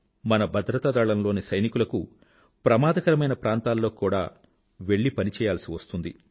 మన భద్రతాదళంలోని సైనికులకు ప్రమాదకరమైన ప్రాంతాల్లోకి కూడా వెళ్ళి పని చేయాల్సివస్తుంది